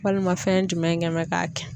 Walima fɛn jumɛn kɛ mɛ k'a kɛ?